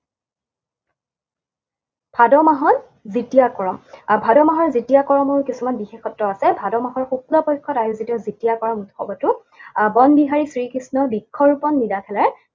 ভাদ মাহৰ দ্বিতীয়া কৰম। আৰু ভাদ মাহৰ দ্বিতীয়া কৰমৰ কিছুমান বিশেষত্ব আছে। ভাদ মাহৰ শুক্ল পক্ষত আয়োজিত দ্বিতীয়া কৰম উৎসৱটো আহ বনবিহাৰী শ্ৰীকৃষ্ণৰ বৃক্ষৰোপণ